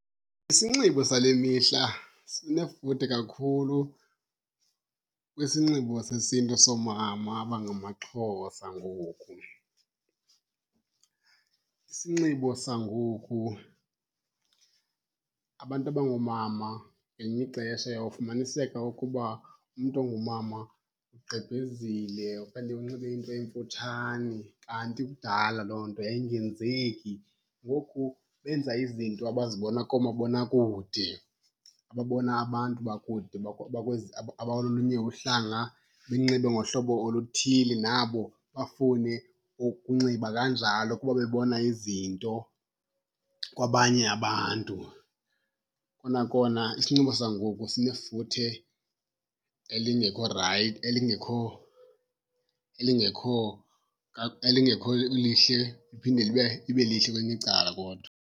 Isinxibo sale mihla sinefuthe kakhulu kwisinxibo sesiNtu soomama abangamaXhosa ngoku. Isinxibo sangoku, abantu abangoomama ngelinye ixesha uyawufumaniseka ukuba umntu ongumama ugqebhezile okanye unxibe into emfutshane, kanti kudala loo nto yayingenzeki. Ngoku benza izinto abazibona koomabonakude, ababona abantu bakude bakwezi abalolunye uhlanga benxibe ngohlobo oluthile, nabo bafune ukunxiba kanjalo kuba bebona izinto kwabanye abantu. Kona kona isinxibo sangoku sinefuthe elingekho elingekho elingekho elingekho lihle, liphinde libe lihle kwelinye icala kodwa.